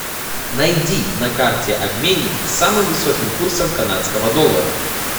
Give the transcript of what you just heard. найди на карте обменник с самым высоким курсом канадского доллара